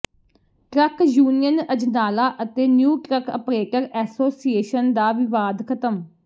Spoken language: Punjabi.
ਟਰੱਕ ਯੂਨੀਅਨ ਅਜਨਾਲਾ ਅਤੇ ਨਿਊ ਟਰੱਕ ਅਪ੍ਰੇਟਰ ਐਸੋਸੀਏਸ਼ਨ ਦਾ ਵਿਵਾਦ ਖ਼ਤਮ